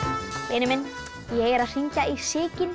vinur minn ég er að hringja í Sigyn